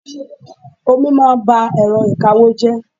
Omi máa ń ba èrọ ìkawó jẹ́.